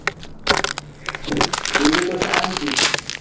બીજું તો શાંતિ છે